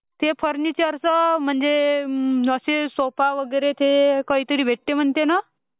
ते फर्निचरचे म्हणजे ते सोफा वगैरे काही तरी भेटते म्हणते ना..